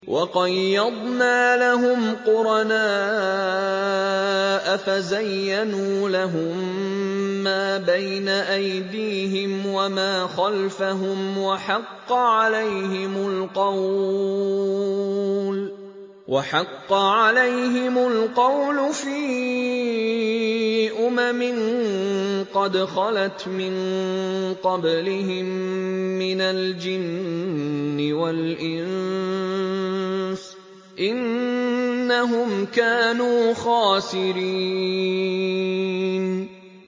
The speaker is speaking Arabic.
۞ وَقَيَّضْنَا لَهُمْ قُرَنَاءَ فَزَيَّنُوا لَهُم مَّا بَيْنَ أَيْدِيهِمْ وَمَا خَلْفَهُمْ وَحَقَّ عَلَيْهِمُ الْقَوْلُ فِي أُمَمٍ قَدْ خَلَتْ مِن قَبْلِهِم مِّنَ الْجِنِّ وَالْإِنسِ ۖ إِنَّهُمْ كَانُوا خَاسِرِينَ